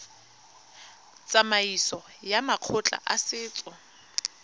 tsamaisong ya makgotla a setso